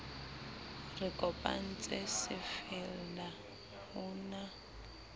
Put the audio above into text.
re kopantse se fella hona